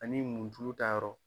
Ani mun tulo ta yɔrɔ.